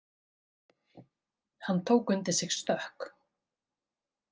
Hann tók undir sig stökk.